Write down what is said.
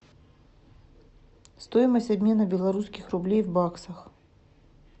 стоимость обмена белорусских рублей в баксах